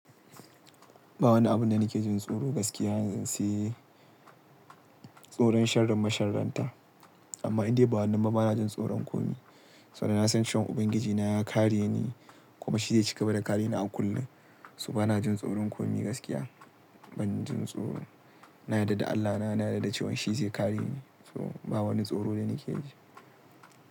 Ba wani abun da nake jin tsoro gaskiya yanzun sai tsoron sharrin masharranta. Amma indai ba wannan ba banajin tsoron komi. Saboda na san cewan Ubangiji na ya kare ni kuma shi zai cigaba da kare ni a kullum. So banajin tsoron komi gaskiya. Ban jin tsoro. Na yarda da Allahna, na yarda da cewan shi zai kare ni. So ba wani tsoro da nake ji.